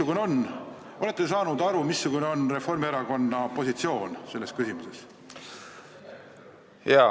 Kas te olete aru saanud, missugune on Reformierakonna positsioon selles küsimuses?